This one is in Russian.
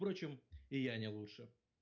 в прочем и я не лучше